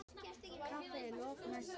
Kaffi að lokinni messu.